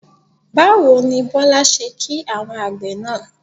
Báwo ni Bọ́lá ṣe kí àwọn àgbẹ̀ náà?